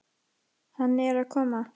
Hann er að koma.